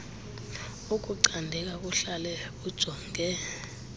ukucandeka kuhlale kujonge